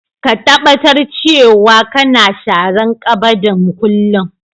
Ka taɓatar cewa kana sharan ƙabadin kullum.